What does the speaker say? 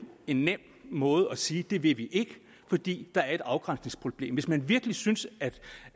en nem måde at sige at det vil vi ikke fordi der er et afgrænsningsproblem hvis man virkelig synes